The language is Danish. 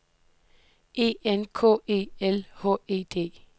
E N K E L H E D